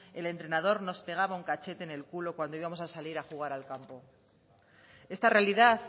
el entrenador nos pegaba un cachete en el culo cuando íbamos a salir a jugar al campo esta realidad